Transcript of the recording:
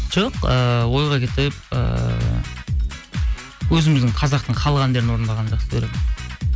жоқ ыыы ойға кетіп ыыы өзіміздің қазақтың халық әндерін орындағанды жақсы көремін